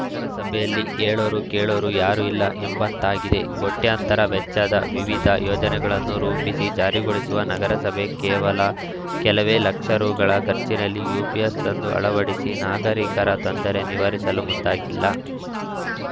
ನಗರಸಭೆಯಲ್ಲಿ ಹೇಳೋರು ಕೇಳೋರು ಯಾರು ಇಲ್ಲ ಎಂಬಂತಾಗಿದೆ ಕೋಟ್ಯಾಂತರ ವೆಚ್ಚದ ವಿವಿಧ ಯೋಜನೆಗಳನ್ನು ರೂಪಿಸಿ ಜಾರಿಗೊಳಿಸುವ ನಗರಸಭೆ ಕೇವಲ ಕೆಲವೇ ಲಕ್ಷ ರೂಗಳ ಖರ್ಚಿನಲ್ಲಿ ಯುಪಿಎಸ್‌ ತಂದು ಅಳವಡಿಸಿ ನಾಗರಿಕರ ತೊಂದರೆ ನಿವಾರಿಸಲು ಮುಂದಾಗಿಲ್ಲ